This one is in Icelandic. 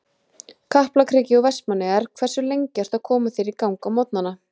Kaplakriki og Vestmannaeyjar Hversu lengi ertu að koma þér í gang á morgnanna?